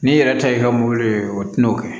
N'i yɛrɛ ta ye ka mobili ye o tɛna o kɛ